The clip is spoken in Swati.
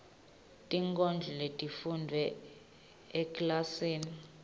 tinkondlo letifundvwe ekilasini